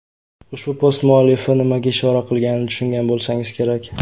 Ushbu post muallifi nimaga ishora qilganini tushungan bo‘lsangiz kerak.